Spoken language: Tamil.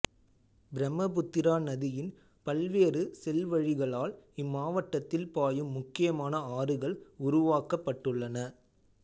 பிரம்மபுத்திரா நதியின் பல்வேறு செல்வழிகளால் இம்மாவட்டத்தில் பாயும் முக்கியமான ஆறுகள் உருவாக்கப்பட்டுள்ளன